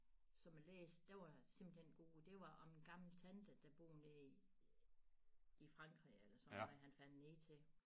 Som jeg læste den var simpelthen god det var om en gammel tante der boede nede i i Frankrig eller sådan noget han fandt ned til